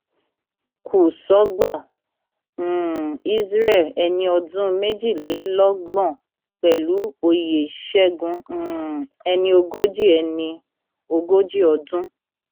kùsọgbà um isreal ẹni ọdún méjìlélọgbọn pẹlú oyè ṣẹgun um ẹni ogójì ẹni ogójì ọdún